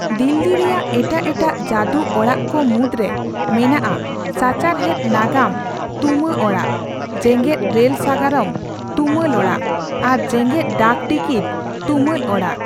ᱫᱤᱞᱞᱤ ᱨᱮᱭᱟᱜ ᱮᱴᱟᱜ ᱮᱴᱟᱜ ᱡᱟᱫᱩ ᱚᱲᱟᱜ ᱠᱚ ᱢᱩᱫᱨᱮ ᱢᱮᱱᱟᱜᱼᱟ ᱥᱟᱪᱟᱨᱦᱮᱫ ᱱᱟᱜᱟᱢ ᱛᱩᱢᱟᱹᱚᱲᱟᱜ, ᱡᱮᱜᱮᱫ ᱨᱮᱞ ᱥᱟᱜᱟᱨᱟᱢ ᱛᱩᱢᱟᱞᱚᱲᱟᱜ ᱟᱨ ᱡᱮᱜᱮᱫ ᱰᱟᱠ ᱴᱤᱠᱤᱴ ᱛᱩᱢᱟᱞ ᱚᱲᱟᱜ ᱾